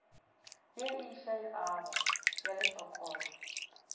ye e išegago ya lešokotšo